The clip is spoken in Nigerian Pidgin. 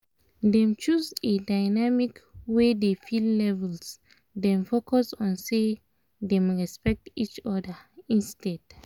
them choose a dynamic wey defil labels dem focus on say them respect each other instead